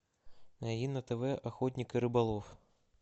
найди на тв охотник и рыболов